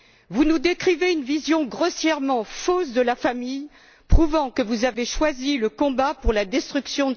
Vous nous décrivez une vision grossièrement fausse de la famille, prouvant que vous avez choisi le combat pour sa destruction.